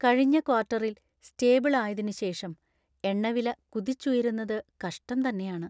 കഴിഞ്ഞ ക്വാർട്ടറിൽ സ്റ്റേബിൾ ആയതിനു ശേഷം എണ്ണവില കുതിച്ചുയരുന്നത് കഷ്ടം തന്നെയാണ്.